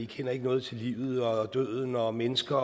kender noget til livet og døden og mennesker